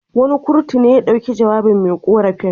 Wani kurtu ne ya dauki jawabin me ƙorafin.